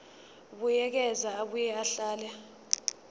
buyekeza abuye ahlele